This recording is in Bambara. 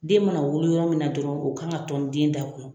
Den mana wolo yɔrɔ min na dɔrɔn o ka kan ka tɔni den da kɔnɔ